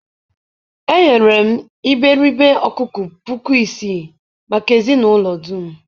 eghere m iberibe ọkụkọ puku isii maka ezinụlọ dum.